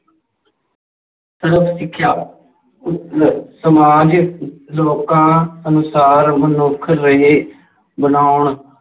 ਸਰਵ ਸਿੱਖਿਆ ਉੱਤਰ ਸਮਾਜ ਲੋਕਾਂ ਅਨੁਸਾਰ ਮਨੁੱਖ ਰਹੇ ਬਣਾਉਣ